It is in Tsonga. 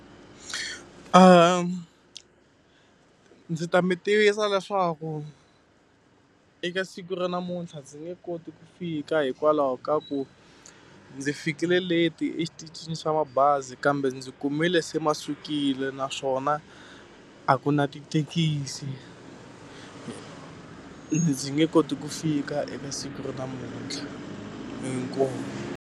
Ndzi ta mi tivisa leswaku eka siku ra namuntlha ndzi nge koti ku fika hikwalaho ka ku ndzi fikile late-i exitichini swa mabazi kambe ndzi kumile se ma sukile naswona, a ku na tithekisi. Ndzi nge koti ku fika eka siku ra namuntlha. Inkomu.